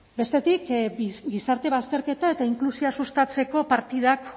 bestetik gizarte bazterketa eta inklusioa sustatzeko partidak